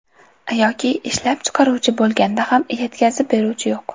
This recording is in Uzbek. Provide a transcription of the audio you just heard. Yoki ishlab chiqaruvchi bo‘lganda ham yetkazib beruvchi yo‘q.